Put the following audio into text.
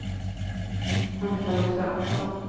Ann-Charlotte Fransson